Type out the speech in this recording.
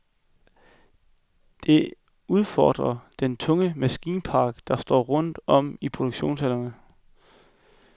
Det udfordrer den tunge maskinpark, der står rundt om i produktionshallerne.